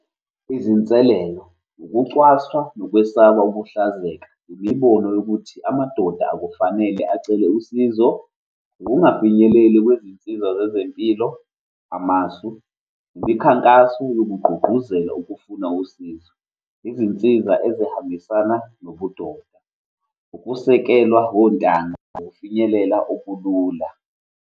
Izinselelo, ukucwaswa nokwesaba ukuhlazeka, imibono yokuthi amadoda akufanele acele usizo, ukungafinyeleli kwezinsiza zezempilo. Amasu, imikhankaso yokugqugquzela ukufuna usizo, izinsiza ezihambisana nobudoda, ukusekelwa wontanga, ukufinyelela okulula.